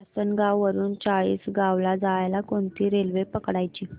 आसनगाव वरून चाळीसगाव ला जायला कोणती रेल्वे पकडायची